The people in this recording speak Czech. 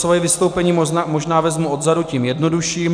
Svoje vystoupení možná vezmu odzadu tím jednodušším.